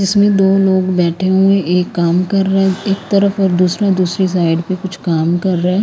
इसमें दो लोग बैठे हुए एक काम कर रहा है एक तरफ और दूसरा दूसरी साइड पर कुछ काम कर रहा है।